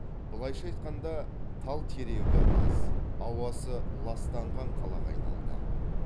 былайша айтқанда тал терегі аз ауасы ластанған қалаға айналды